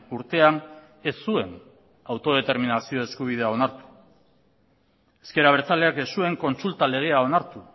urtean ez zuen autodeterminazio eskubidea onartu ezker abertzaleak ez zuen kontsulta legea onartu